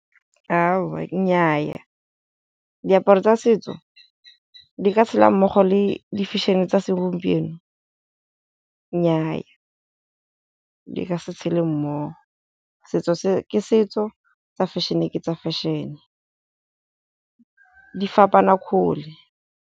Aowa nnyaa, diaparo tsa setso di ka tshela mmogo le di-fashion-e tsa segompieno, nnyaa di ka se tshele mmogo. Setso ke setso, tsa fashion-e ke tsa fashion-e di fapana kgole.